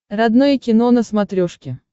родное кино на смотрешке